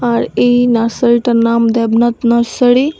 আর এই নার্সারিটার নাম দেবনাথ নার্সারি ।